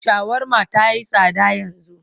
Shawarma ta yi tsada yanzu.